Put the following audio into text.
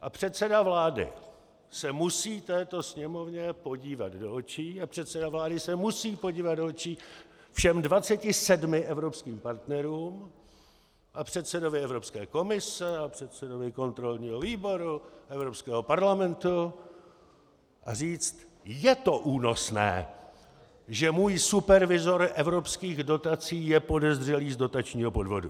A předseda vlády se musí této Sněmovně podívat do očí a předseda vlády se musí podívat do očí všem 27 evropským partnerům a předsedovi Evropské komise a předsedovi kontrolního výboru Evropského parlamentu a říct: Je to únosné, že můj supervizor evropských dotací je podezřelý z dotačního podvodu.